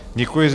Děkuji.